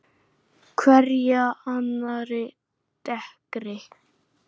Hverja annarri dekkri.